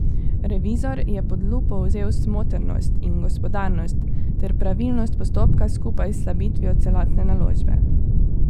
Revizor je pod lupo vzel smotrnost in gospodarnost ter pravilnost postopka skupaj s slabitvijo celotne naložbe.